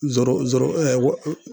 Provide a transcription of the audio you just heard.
zoro zoro ɛɛ